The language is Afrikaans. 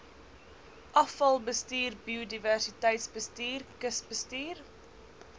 afvalbestuur biodiversiteitsbestuur kusbestuur